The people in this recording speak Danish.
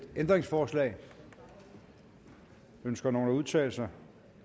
ændringsforslag ønsker nogen at udtale sig